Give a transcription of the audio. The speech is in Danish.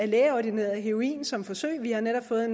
lægeordineret heroin som forsøg vi har netop fået